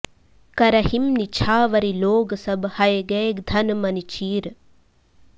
करहिं निछावरि लोग सब हय गय धन मनि चीर